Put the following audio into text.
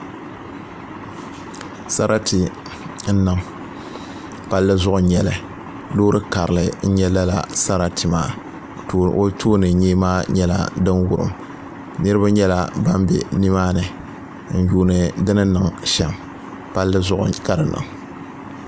Sarati n niŋ palli zuɣu n nyɛli loori karili n nyɛ lala sarati maa ka o tooni nyee maa nyɛla din wurim niraba nyɛla ban bɛ nimaani n yuundi di ni niŋ shɛm palli zuɣu ka di niŋ